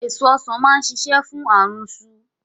Èso Ọ̀sán máa ṣiṣẹ́ fún àrùnsu